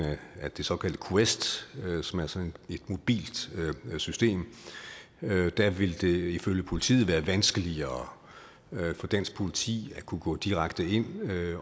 af det såkaldte quest som er sådan et mobilt system der vil det ifølge politiet være vanskeligere for dansk politi at kunne gå direkte ind